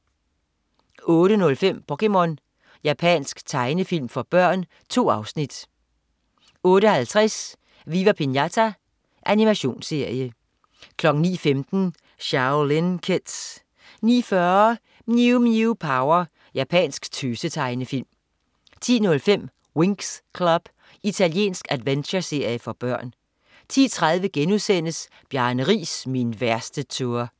08.05 POKéMON. Japansk tegnefilm for børn. 2 afsnit 08.50 Viva Pinata. Animationsserie 09.15 Shaolin Kids 09.40 Mew Mew Power. Japansk tøse-tegnefilm 10.05 Winx Club. Italiensk adventureserie for børn 10.30 Bjarne Riis, min værste tour*